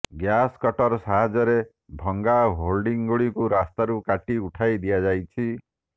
gas cutter ସାହାଯ୍ୟରେ ଭଙ୍ଗା ହୋର୍ଡିଂଗୁଡ଼ିକୁ ରାସ୍ତାକୁ କାଟି ଉଠାଇ ଦିଆଯାଇଛି